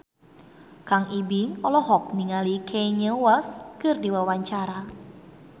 Kang Ibing olohok ningali Kanye West keur diwawancara